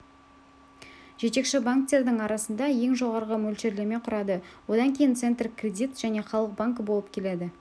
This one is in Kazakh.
жетекші банктердің арасында ең жоғары мөлшерлеме құрады одан кейін центркредит және халық банкі болып келеді